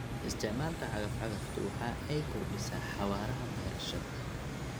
Isticmaalka cagaf-cagaftu waxa ay kordhisaa xawaaraha beerashada.